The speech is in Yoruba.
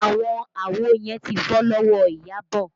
Àwọn àwo yẹn ti fọ́ lọ́wọ́ Iyabọ̀